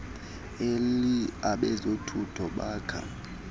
elly abezothutho baka